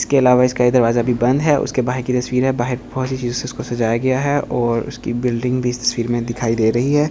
इसके इलावा इसका दरवाजा भी बंद है उसके बाहर की तस्वीर है बाहर सी चीजो से उसको सजाया गया है और उसकी बिल्डिंग भी तस्वीर में दिखाई दे रही है और --